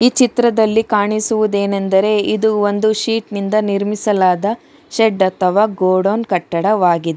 ಈ ಚಿತ್ರದಲ್ಲಿ ಕಾಣಿಸುವುದೇನೆಂದರೆ ಇದು ಒಂದು ಶೀಟ್ ನಿಂದ ನಿರ್ಮಿಸಲಾದ ಶೆಡ್ ಅಥವಾ ಗೋಡೌನ್ ಕಟ್ಟಡವಾಗಿದೆ.